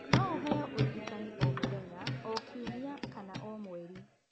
No ũheo ũrigitani o mũthenya, o kiumia kana o mweri.